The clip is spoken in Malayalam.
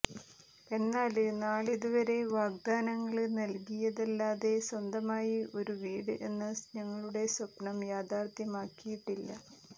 എന്നാല് നാളിതുവരെ വാഗ്ദാനങ്ങള് നല്കിയതല്ലാതെ സ്വന്തമായി ഒരു വീട് എന്ന ഞങ്ങളുടെ സ്വപ്നം യാഥാര്ഥ്യമാക്കിയിട്ടില്ല